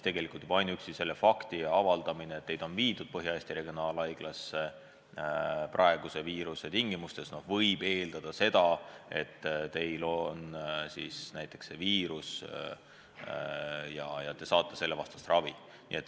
Juba ainuüksi see fakt, et teid on viidud Põhja-Eesti Regionaalhaiglasse, võimaldab praegu eeldada seda, et teil on koroonanakkus ja te saate selle vastast ravi.